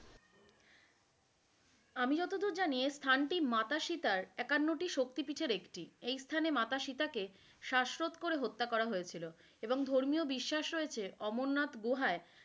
আমি যতদূর জানি এর স্থানটি মাতা সীতার একান্নটি শক্তিপিটের একটি, এই স্থানে মাতা সীতাকে শ্বাসরোধ করে হত্যা করা হয়েছিল, এবং ধর্মীয় বিশ্বাস রয়েছে অমরনাথ গুহাই,